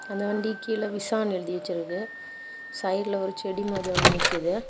அந்த வண்டி கீழ விஷானு எழுதிவச்சிருக்கு சைடுல ஒரு செடி மாதி ஒன்னு நிக்குது.